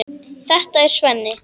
Þetta er Svenni.